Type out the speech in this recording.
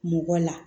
Mɔgɔ la